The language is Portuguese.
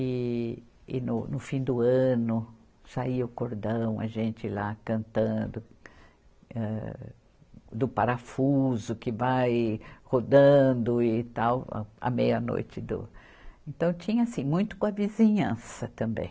E, e no no fim do ano saía o cordão, a gente lá cantando, âh do parafuso que vai rodando e tal, a, a meia-noite do... Então, tinha assim, muito com a vizinhança também.